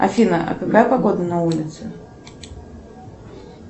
афина а какая погода на улице